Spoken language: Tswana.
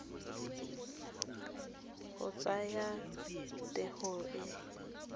go tsaya t hono e